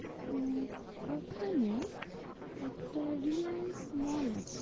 উম ওখানে একটা রিলায়েন্স mall আছে